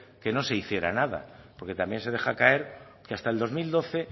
que no se hiciera nada porque también se deja caer que hasta el dos mil doce